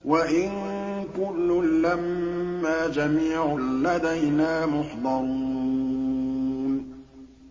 وَإِن كُلٌّ لَّمَّا جَمِيعٌ لَّدَيْنَا مُحْضَرُونَ